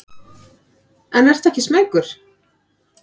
En ertu ekki smeykur?